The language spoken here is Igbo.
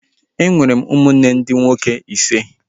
E nwere m ụmụnne ndị nwoke ise